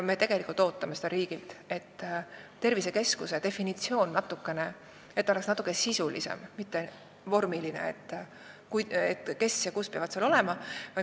Me ootame riigilt seda, et tervisekeskuse definitsioon oleks natuke sisulisem, mitte pelgalt vormiline suunis, kes ja kus peavad olema.